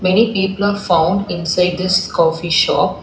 Many people are found inside this coffee shop.